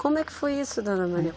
Como é que foi isso, dona Maria?